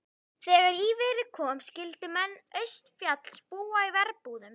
Þegar í verið kom skyldu menn austanfjalls búa í verbúðum.